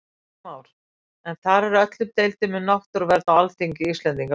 Heimir Már: Er þar með öllum deilum um náttúruvernd á Alþingi Íslendinga lokið?